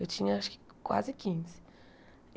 Eu tinha, acho que, quase quinze.